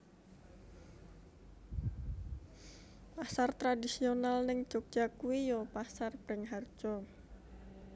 Pasar tradisional ning Jogja kui yo Pasar Bringharjo